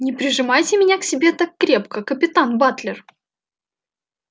не прижимайте меня к себе так крепко капитан батлер